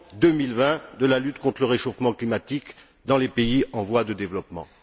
2020 pour la lutte contre le réchauffement climatique dans les pays en voie de développement.